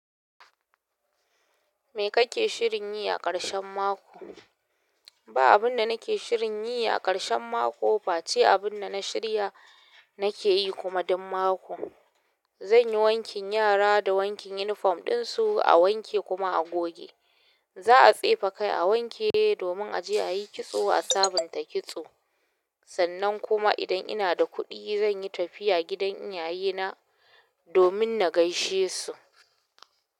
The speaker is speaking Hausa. Me kake shirin yi a ƙarshen mako? Ba abun da nake shirin yi a ƙarshen mako fa, ce abun da na shirya nake yi kuma duk mako. Zan yi wankin yara da wankin unifom ɗinsu a wanke kuma a goge. Za a tsefe kai a wanke domin a je a yi kitso a sabunta kitso. Sannan kuma idan ina da kuɗi zan yi tafiya gidan iyayena domin na gaishe su.